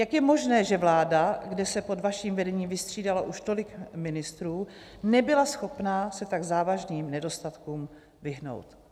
Jak je možné, že vláda, kde se pod vaším vedením vystřídalo už tolik ministrů, nebyla schopna se tak závažným nedostatkům vyhnout?